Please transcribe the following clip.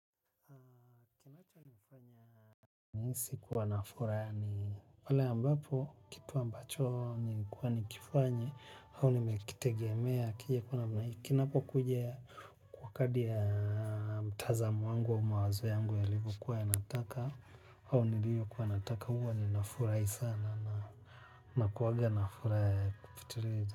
Kuwa nafuraha ni pale ambapo kitu ambacho nilikuwa ni kifanye. Hawa ni mekitegea mea kija kuna mna kin po kujia wakaoi ya mtazamo wangu au mawazo yangu yaliku kuwa ya nataka. Hawa ni liyo kuwa nataka huwa ni nafurai sana na kuwaga nafura ya kupitiriza.